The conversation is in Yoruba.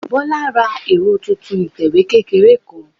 Bọ́lá ra ẹ̀rọ titun ìtẹ̀wé kékeré kan